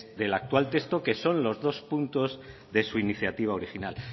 del actual texto que son los dos puntos de su iniciativa original